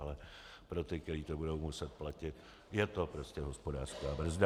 Ale pro ty, kteří to budou muset platit, je to prostě hospodářská brzda.